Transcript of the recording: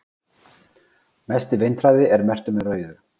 mesti vindhraði er merktur með rauðu